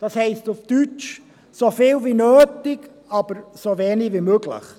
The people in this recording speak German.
Das heisst auf Deutsch: so viel nötig, aber so wenig wie möglich.